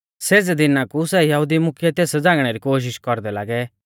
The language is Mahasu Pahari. सेज़ै दिना कु सै यहुदी मुख्यै तेस झ़ांगणै री कोशिष कौरदै लागै